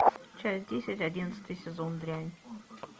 часть десять одиннадцатый сезон дрянь